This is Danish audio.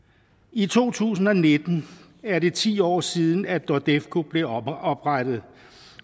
i to tusind og nitten er det ti år siden at nordefco blev oprettet